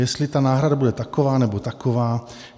Jestli ta náhrada bude taková, nebo taková.